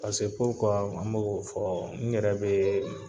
n bɛ k'o fɔ n yɛrɛ bɛ